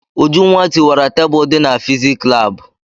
Ujunwa tiwara tebulu dị na fizik laabụ.